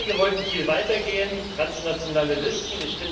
Einige wollten viel weiter gehen transnationale Listen.